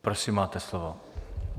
Prosím, máte slovo.